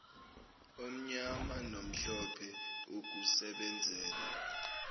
omnyama nomhlophe ukusebenzela